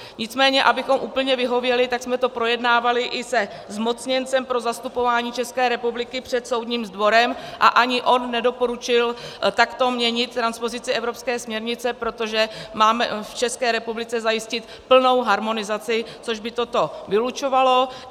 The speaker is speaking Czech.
Nicméně abychom úplně vyhověli, tak jsme to projednávali i se zmocněncem pro zastupování České republiky před Soudním dvorem a ani on nedoporučil takto měnit transpozici evropské směrnice, protože máme v České republice zajistit plnou harmonizaci, což by toto vylučovalo.